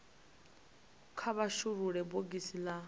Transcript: kha vha shulule bogisi la